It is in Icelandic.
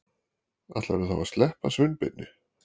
Ætlarðu þá að sleppa Sveinbirni?